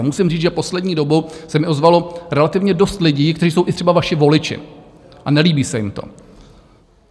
A musím říct, že poslední dobou se mi ozvalo relativně dost lidí, kteří jsou i třeba vaši voliči, a nelíbí se jim to.